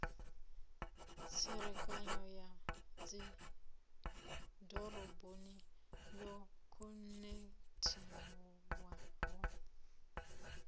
tserekano ya dzidoroboni yo khonekhithiwaho